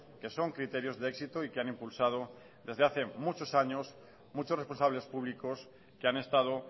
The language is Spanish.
que son criterios de éxito y que han impulsado desde hace muchos años muchos responsables públicos que han estado